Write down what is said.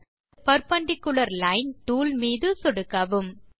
tool bar இலிருந்து perpendicular line tool மீது சொடுக்கவும்